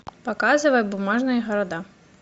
показывай бумажные города